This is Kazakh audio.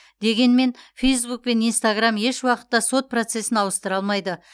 дегенмен фейсбук пен инстаграм еш уақытта сот процесін ауыстыра алмайды